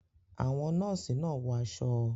Àwọn Nọ́ọ̀sì náà wọ aṣọ